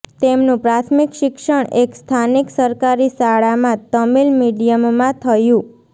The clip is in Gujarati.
તેમનું પ્રાથમિક શિક્ષણ એક સ્થાનિક સરકારી શાળામાં તમિલ મીડિયમમાં થયુ